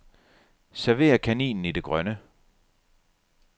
Server kaninen i det grønne.